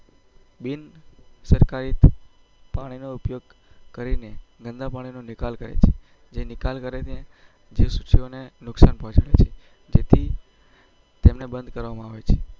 બિન સરકારી પાણી નો ઉપયોગ કરીને ગન્દ્ડા પાણીનો નિકાલ કરે કછે